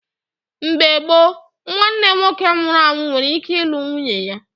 Mgbe gboo, nwanne nwoke nwụrụ anwụ nwere ike ịlụ nwunye ya